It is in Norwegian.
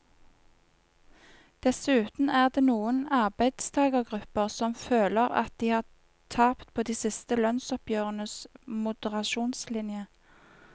Dessuten er det noen arbeidstagergrupper som føler at de har tapt på de siste lønnsoppgjørenes moderasjonslinje.